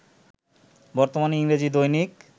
বর্তমানে ইংরেজি দৈনিক